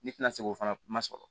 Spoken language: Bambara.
Ne tɛna se k'o fana ma sɔrɔ